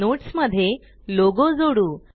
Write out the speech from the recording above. notes मध्ये logo जोडू